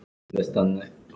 Baldvin leit upp hissa.